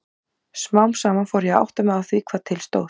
Smám saman fór ég að átta mig á því hvað til stóð.